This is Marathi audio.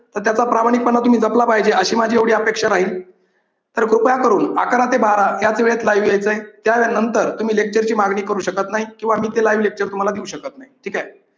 तर त्याचा प्रामाणिकपणा तुम्ही जपला पाहिजे. अशी माझी एवढी अपेक्षा राहील तर कृपया करून अकरा ते बारा याच वेळेत live यायचंय त्यानंतर तुम्ही lecture ची मागणी करू शकत नाही किंवा मी ते livelecture तुम्हाला देऊ शकत नाही. ठीक आहे.